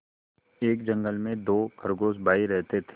एक जंगल में दो खरगोश भाई रहते थे